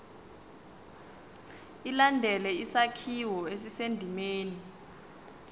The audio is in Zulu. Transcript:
ilandele isakhiwo esisendimeni